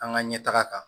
An ka ɲɛtaga kan